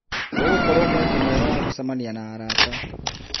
ũgũkorwo mweke mwega wa gũcemania na arata.